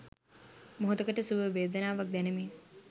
මොහොතකට සුඛ වේදනාවක් දැනෙමින්